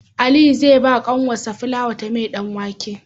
Aliyu zai bawa kanwar shi fulawa ta mai dan wake